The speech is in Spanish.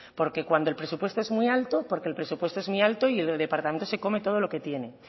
porque cuando el presupuesto es muy alto porque el presupuesto es muy alto y el departamento se come todo lo que tiene